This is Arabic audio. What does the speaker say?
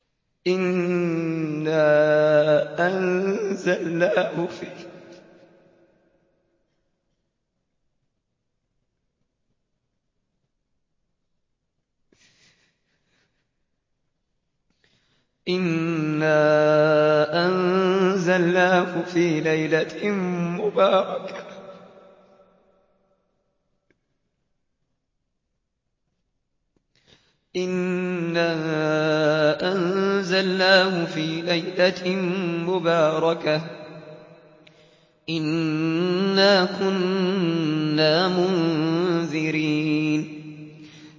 إِنَّا أَنزَلْنَاهُ فِي لَيْلَةٍ مُّبَارَكَةٍ ۚ إِنَّا كُنَّا مُنذِرِينَ